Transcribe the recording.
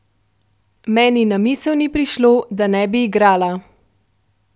Meni na misel ni prišlo, da ne bi igrala.